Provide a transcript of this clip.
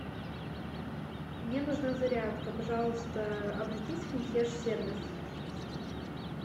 мне нужна зарядка пожалуйста обратись в консьерж сервис